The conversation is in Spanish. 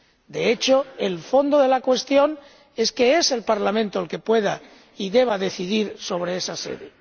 de hecho, el fondo de la cuestión es que sea el Parlamento el que pueda y deba decidir sobre esa sede.